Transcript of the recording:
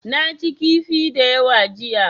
Na ci kifi da yawa jiya.